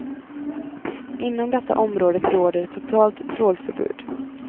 Inom detta området råder totalt trålförbud.